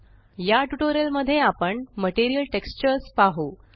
या ट्यूटोरियल मध्ये आपण मटीरियल टेक्स्चर्स पाहु